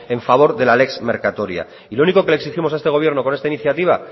a favor de la lex mercatoria y lo único que le exigimos a este gobierno con esta iniciativa